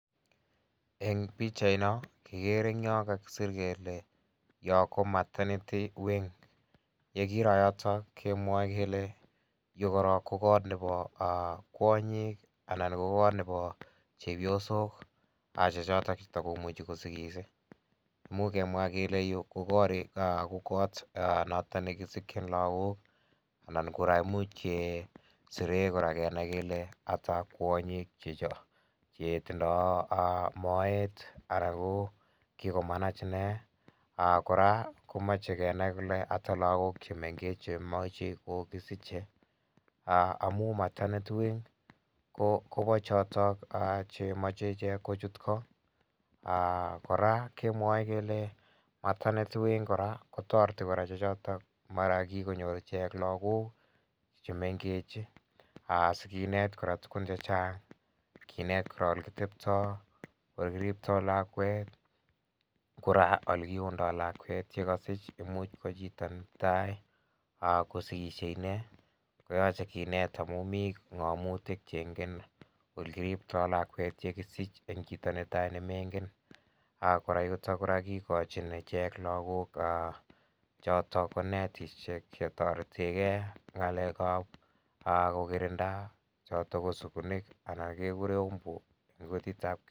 Eng' pikchaino kikere ing' yo kakisir kele yo ko maternity wing yekiro yoto kemwoe kele yu korok ko kot nebo kwonyik anan ko kot nebo chepyosok che chot chetikomuchi kosikis muuch kemwa kele yu ko koot noton nekisikchin lakok ana kora muuch kesirei kenai kele ata kwonyik chetindoi moet anan ko kikomanach ine kora komochei kenai kole ata lakok chemengech chemoche kokisichei amu maternity wing kobo chotok chemochei ichek kochut koo kora kemwae kele maternity wing kora kotoreti kora che chotok mara kikonyor ichek lakok chemengech asikinet kora tugun chechang' kinet kora ole kiteptoi ole kiriptoi lakwet kora ole kiundoi lakwet yekasuch imuuch ko chito netai kosikishei ine koyochei kinet amu mi ng'omutik cheingen ole kiriptoi lakwet yekisich eng' chito netai nemengen kora yutok kora kikochin ichek lakok chotok ko netishek chetoretegei ak ng'alekab kokirinda choto ko sukunik anan kekure umbu